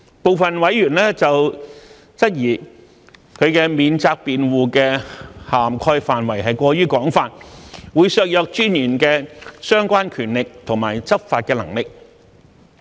部分委員質疑此免責辯護的涵蓋範圍過於廣泛，會削弱私隱專員的相關權力及執法能力。